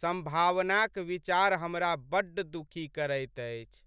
सम्भावनाक विचार हमरा बड्ड दुखी करैत अछि।